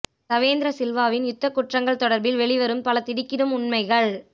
சவேந்திர சில்வாவின் யுத்த குற்றங்கள் தொடர்பில் வெளிவரும் பல திடுக்கிடும் உண்மைகள்